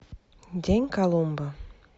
день колумба